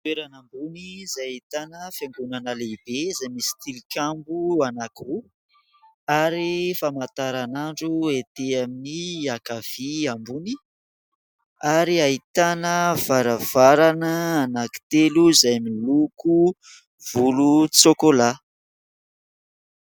Toerana ambony izay ahitana fiangonana lehibe izay misy tilikambo anankiroa ary famantaranandro ety amin'ny ankavia ambony ary ahitana varavarana anankitelo izay miloko volontsokolà.